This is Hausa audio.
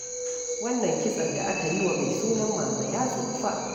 Wannan kitson da aka yi wa mai sunan Mama ya tsufa.